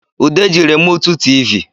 Ude ji remụtụ tịvị